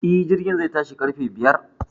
E,Jirgin zai tashi ƙarfe biyar.